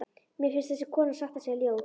Mér finnst þessi kona satt að segja ljót.